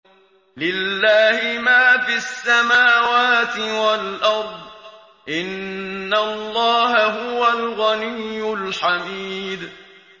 لِلَّهِ مَا فِي السَّمَاوَاتِ وَالْأَرْضِ ۚ إِنَّ اللَّهَ هُوَ الْغَنِيُّ الْحَمِيدُ